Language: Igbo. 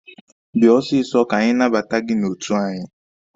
Bịa ọsịsọ ka anyị nabata gị n'otu anyị!